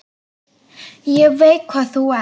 Ég veit hvað þú ert.